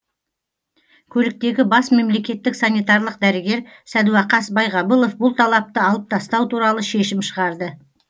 көліктегі бас мемлекеттік санитарлық дәрігер сәдуақас байғабылов бұл талапты алып тастау туралы шешім шығарды